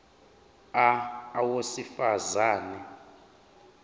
a owesifaz ane